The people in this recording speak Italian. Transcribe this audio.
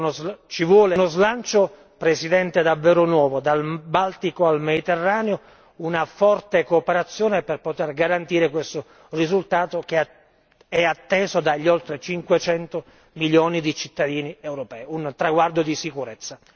Occorre uno slancio, Presidente, davvero nuovo, dal Baltico al Mediterraneo una forte cooperazione per poter garantire questo risultato, che è atteso dagli oltre 500 milioni di cittadini europei, un traguardo di sicurezza.